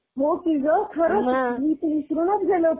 हो की ग, खरंच मी तर विसरूनच गेले होते.